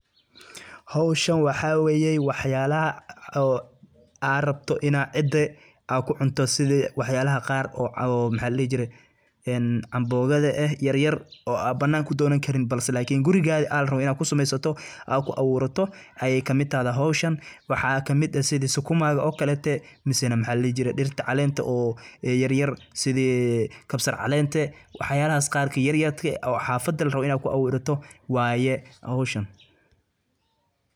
Howshan waxaa weyey waxyaalaha oo aa rabta ina cida aa ku cunto sidi waxyaalaha qaar oo maxaa ladihi jire ee ambogada eh yaryar oo aa bananka u doonan karin balse laakin gurigada aa larabo inaa ku sameysato aa ku abuurato ayay kamid tahday howshan waxaa kamid ah sidi sukumada oo kalete mise maxaa ladhihi jire dirta calenta oo yaryar sidii kabsar calenta waxyaalahas qaar ee yaryarka oo xafada larabo ina ku abuurato waye howshan.